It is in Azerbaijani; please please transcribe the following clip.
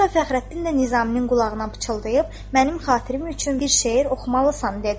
Hətta Fəxrəddin də Nizaminin qulağına pıçıldayıb, mənim xatirim üçün bir şeir oxumalısan dedi.